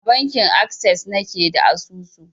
A bankin akses na ke da asusu.